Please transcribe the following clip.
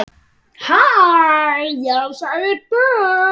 Já, sagði Bill.